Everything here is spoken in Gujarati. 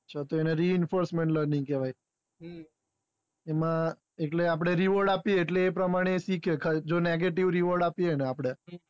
તેને re enforcement learning કહેવાય એમાં આપડે reword આપ્યે એટલે તે શીખે જો negative reword આપ્યે એ ને આપડે